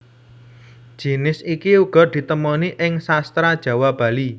Jinis iki uga ditemoni ing Sastra Jawa Bali